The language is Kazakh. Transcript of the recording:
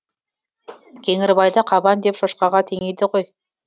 кеңгірбайды қабан деп шошқаға теңейді ғой